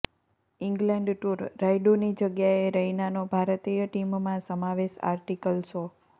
England tour રાયડૂની જગ્યાએ રૈનાનો ભારતીય ટીમમાં સમાવેશ આર્ટિકલ શો